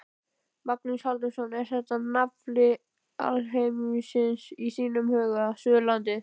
Magnús Halldórsson: Er þetta nafli alheimsins í þínum huga, Suðurlandið?